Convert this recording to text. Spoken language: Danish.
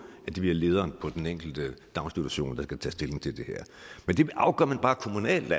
at det bliver lederen på den enkelte daginstitution der skal tage stilling til det her men det afgør man bare kommunalt